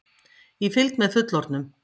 Í fylgd með fullorðnum!